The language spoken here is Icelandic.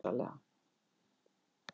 Sveik mig alveg rosalega.